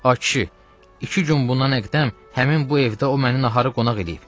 Ay kişi, iki gün bundan əqdəm həmin bu evdə o məni nahara qonaq eləyib.